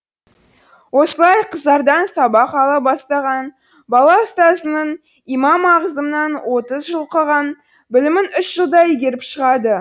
осылай қызардан сабақ ала бастаған бала ұстазының имам ағызамнан отыз жыл оқыған білімін үш жылда игеріп шығады